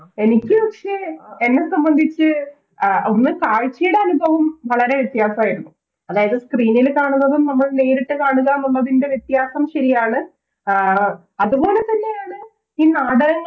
എനിക്ക് പക്ഷെ എന്നെ സംബന്ധിച്ച് അഹ് ഒന്ന് കാഴ്ചെടെ അനുഭവം വളരെ വ്യത്യസായിരുന്നു അതായത് Screen ല് കാണുന്നതും നമ്മൾ നേരിട്ട് കാണുക എന്നുള്ളതിൻറെ വ്യത്യാസം ശരിയാണ് ആഹ് അതുപോലെതന്നെയാണ് ഈ നാടകങ്ങ